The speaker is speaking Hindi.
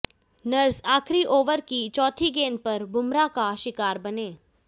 नर्स आखिरी ओवर की चौथी गेंद पर बुमराह का शिकार बने